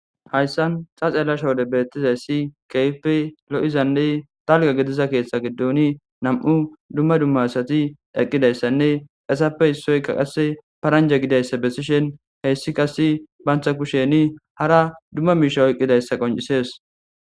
Haysan ta xelashode betizays dumma dumma lo'izanne dalga gidiza ketha gidon 2 dumma dumma asat eqidaysanne hesatappe isoyka qase paranja gidoysa besishin heys qase banta kushen hara dumma mishe oykidaysa qoncises.